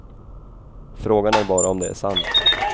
Frågan är bara om det är sant.